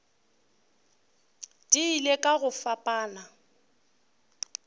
di ile ka go fapana